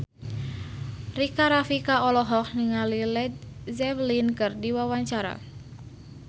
Rika Rafika olohok ningali Led Zeppelin keur diwawancara